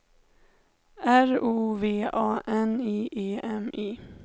R O V A N I E M I